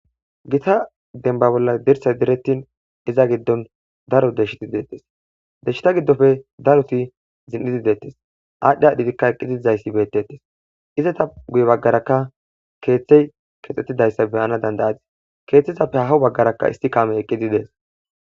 gita denba bolla dirsay direttin iza giddon daro deshiti deettes deshshita giddofe daroti zin7idi deettes aadhdhi dhigikka eqqitizayssi beetetes izata guye baggarakka keeththey kexxettidayssa beyana dandayati keeththizappe hahw baggaraka isti kaame eqqidi dees.